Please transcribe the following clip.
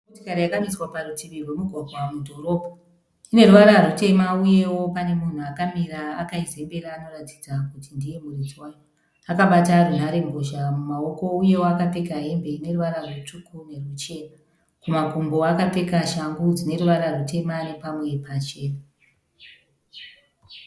Motokari yakamiswa parutivi rwemugwagwa mudhorobha . Ine ruvara rutema, uyewo pane munhu akamira akaizembera anoratidza kuti ndiye muridzi wayo . Akabata runhare mbozha mumawoko uyewo akapfeka hembe ineruvara rutsvuku neruchena. Kumakumbo akapfeka shangu dzine ruvara rutema nepamwe pachena.